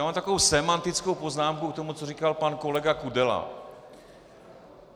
Já mám takovou sémantickou poznámku k tomu, co říkal pan kolega Kudela.